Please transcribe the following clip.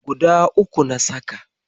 Guda uku na saka.